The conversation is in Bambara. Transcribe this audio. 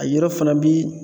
A yɔrɔ fana bi